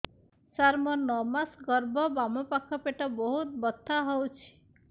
ସାର ମୋର ନଅ ମାସ ଗର୍ଭ ବାମପାଖ ପେଟ ବହୁତ ବଥା ହଉଚି